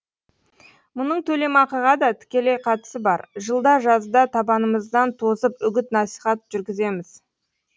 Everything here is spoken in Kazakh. мұның төлемақыға да тікелей қатысы бар жылда жазда табанымыздан тозып үгіт насихат жүргіземіз